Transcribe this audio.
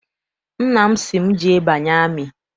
Nna m sị m, jee banye amị!